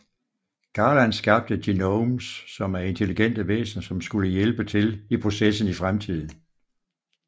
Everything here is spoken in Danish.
Garland skabte Genomes som er intelligente væsener som skulle hjælpe til i processen i fremtiden